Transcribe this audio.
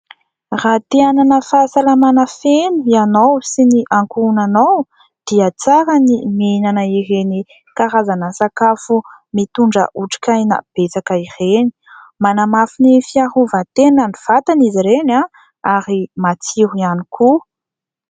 Raha te-hanana fahasalamana feno ianao sy ny ankohonanao dia tsara ny mihinana ireny karazana sakafo mitondra otrikaina betsaka ireny. Manamafy ny fiarovan-tenan'ny vatana izy ireny ary matsiro ihany koa.